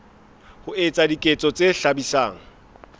ho etsa diketso tse hlabisang